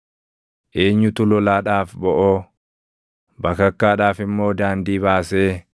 Eenyutu lolaadhaaf boʼoo, bakakkaadhaaf immoo daandii baasee,